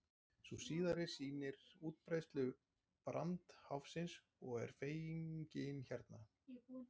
sú síðari sýnir útbreiðslu brandháfsins og er fengin hérna